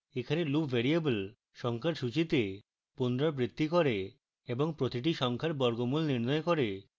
এখানে loop variable সংখ্যার সূচীতে পুনরাবৃত্তি করে এবং প্রতিটি সংখ্যার বর্গমূল নির্ণয় করে